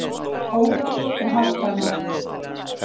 Hóf er hagkvæmast.